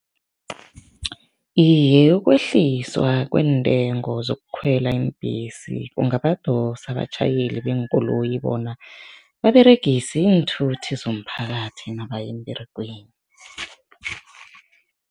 Iye, ukwehliswa kweentengo zokukhwela iimbhesi kungabadosa abatjhayeli beenkoloyi bona baberegise iinthuthi zomphakathi nabaya emberegweni.